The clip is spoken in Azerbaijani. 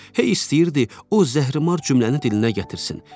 Hey istəyirdi o zəhrimar cümləni dilinə gətirsin.